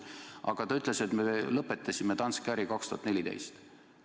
Aga ta ütles, et me lõpetasime Danske äri aastal 2014.